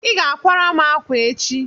ị ga akwara m akwa echi!